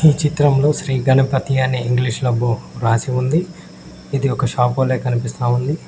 ఈ చిత్రం లో శ్రీ గణపతి అని ఇంగ్లీష్ లో రాసి ఉంది. ఇది ఒక షాప్ వలే కనిపిస్తా ఉంది.